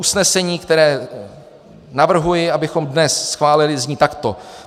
Usnesení, které navrhuji, abychom dnes schválili, zní takto: